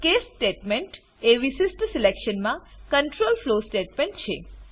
case statement એ વિશિષ્ઠ selection માટે કન્ટ્રોલ ફ્લો સ્ટેટમેન્ટ છે